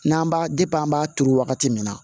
N'an b'a an b'a turu wagati min na